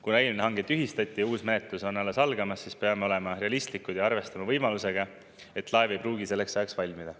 Kuna eelmine hange tühistati ja uus menetlus on alles algamas, siis peame olema realistlikud ja arvestama võimalusega, et laev ei pruugi selleks ajaks valmida.